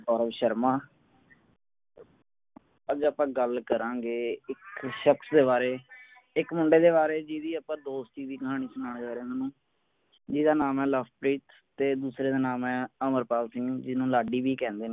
ਕਵਲ ਸ਼ਰਮਾ ਅੱਜ ਆਪਾਂ ਗੱਲ ਕਰਾਂਗੇ ਇੱਕ ਸ਼ਖਸ ਦੇ ਬਾਰੇ ਇੱਕ ਮੁੰਡੇ ਦੇ ਬਾਰੇ ਜਿਸਦੀ ਆਪਾਂ ਦੋਸਤੀ ਦੀ ਕਹਾਣੀ ਸੁਣਾਉਣ ਜਾ ਰਿਹਾ ਮੈਂ ਤੁਹਾਨੂੰ ਜਿਸਦਾ ਨਾਮ ਹੈ ਲਵਪ੍ਰੀਤ ਤੇ ਦੂਸਰੇ ਦਾ ਨਾਮ ਹੈ ਅਮਰਪਾਲ ਸਿੰਘ ਜਿਸਨੂੰ ਲਾਡੀ ਵੀ ਕਹਿੰਦੇ ਨੇ